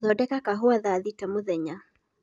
thondeka kahũa thaa thĩta mũthenya